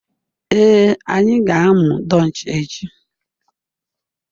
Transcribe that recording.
Ee, anyị ga-amụ Dutch echi